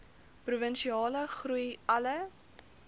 provinsiale groei alle